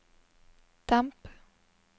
demp